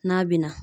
N'a bɛna